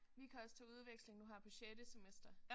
Vi kan også tage udveksling nu her på sjette semester